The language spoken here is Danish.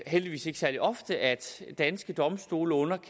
heldigvis ikke særlig ofte at danske domstole